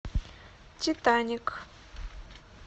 титаник